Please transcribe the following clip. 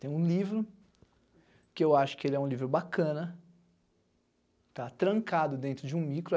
Tem um livro, que eu acho que ele é um livro bacana, está trancado dentro de um micro.